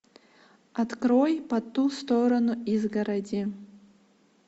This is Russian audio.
открой по ту сторону изгороди